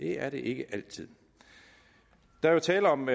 det er det ikke altid der er jo tale om